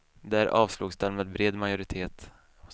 Där avslogs den med bred majoritet.